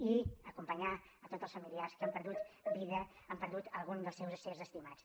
i acompanyar tots els familiars que han perdut vida han perdut algun dels seus éssers estimats